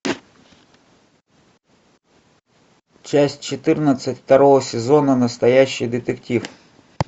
часть четырнадцать второго сезона настоящий детектив